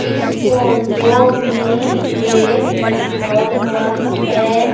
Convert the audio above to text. इस फोटो में एक पेट्रोल पंप है।